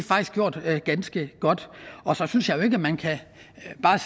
gjort ganske godt og så synes jeg jo ikke at man kan